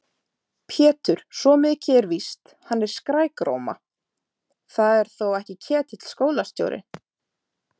Pétur, svo mikið er víst, hann er svo skrækróma. það er þó ekki Ketill skólastjóri?